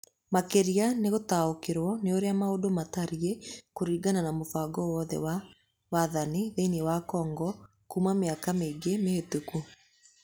Makĩria nĩ gũtaũkĩrũo nĩ ũrĩa maũndũ matariĩ kũringana na mũbango wothe wa wathani thĩinĩ wa Congo kuuma mĩaka mĩingĩ mĩhĩtũku.